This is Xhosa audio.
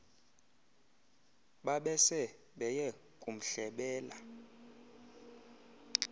babese beye kumhlebela